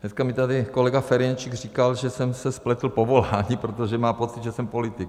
Dneska mi tady kolega Ferjenčík říkal, že jsem se spletl v povolání, protože má pocit, že jsem politik.